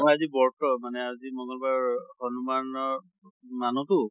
মোৰ আজি বৰ্ত মানে আজি মঙ্গল বাৰ হনুমানৰ মানো তো